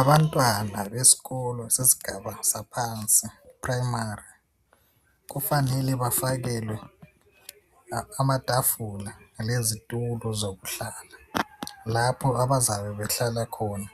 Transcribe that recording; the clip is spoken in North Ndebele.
Abantwana besikolo sesigaba saphansi eprimary kufanele bafakwele amatafula lezitulo zokuhlala lapho abazabe behlala khona